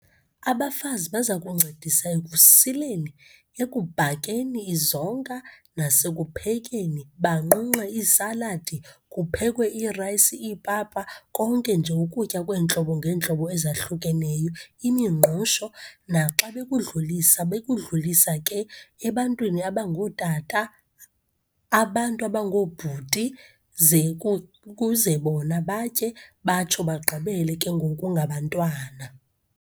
Abafazi baza kuncedisa ekusileni, ekubhakeni izonka, nasekuphekeni, banqunqe iisaladi, kuphekwe iirayisi, iipapa, konke nje ukutya kweentlobo ngeentlobo ezahlukeneyo, iimingqusho. Naxa bekudlulisa, bekudlisa ke ebantwini abangootata, abantu abangoobhuti, ze kuze bona batye, batsho bagqibele ke ngoku ngabantwana.